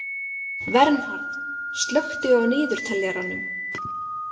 Vernharð, slökku á niðurteljaranum.